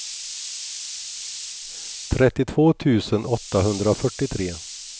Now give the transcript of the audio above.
trettiotvå tusen åttahundrafyrtiotre